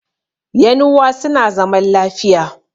yanuwa suna zaman lafiya